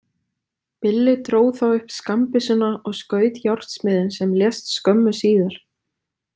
Billi dró þá upp skammbyssuna og skaut járnsmiðinn sem lést skömmu síðar.